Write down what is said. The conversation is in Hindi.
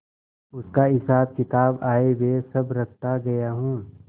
उसका हिसाबकिताब आयव्यय सब रखता गया हूँ